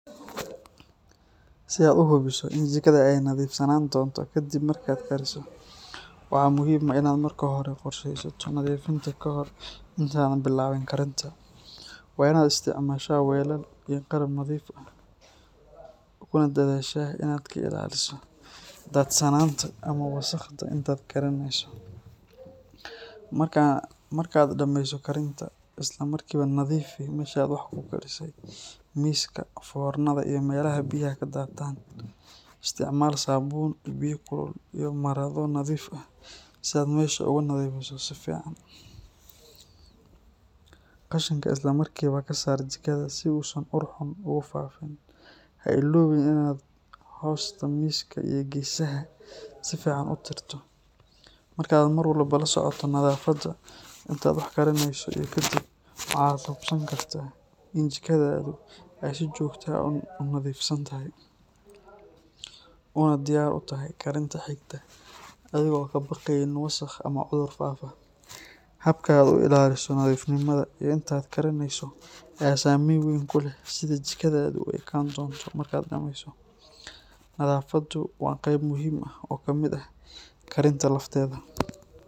Si aad u hubiso in jikadaada ay nadiifsanaan doonto kadib markaad kariso, waxaa muhiim ah inaad marka hore qorsheysato nadiifinta kahor intaadan bilaabin karinta. Waa inaad isticmaashaa weelal iyo qalab nadiif ah, kuna dadaashaa in aad ka ilaaliso daadsanaanta ama wasakhda inta aad karineyso. Marka aad dhameyso karinta, isla markiiba nadiifi meesha aad wax ku karisay, miiska, foornada, iyo meelaha biyaha ka daataan. Isticmaal saabuun, biyo kulul iyo marado nadiif ah si aad meesha ugu nadiifiso si fiican. Qashinka isla markiiba ka saar jikada si uusan ur xun ugu faafin. Ha iloobin inaad hoosta miiska iyo geesaha si fiican u tirto. Marka aad mar walba la socoto nadaafadda inta aad wax karineyso iyo kadib, waxa aad hubsan kartaa in jikadaadu ay si joogto ah u nadiifsan tahay, una diyaar u tahay karinta xigta adigoon ka baqayn wasakh ama cudur faafa. Habka aad u ilaaliso nadiifnimada inta aad karineyso ayaa saameyn weyn ku leh sida jikadaadu u ekaan doonto markaad dhameyso. Nadaafaddu waa qayb muhiim ah oo ka mid ah karinta lafteeda.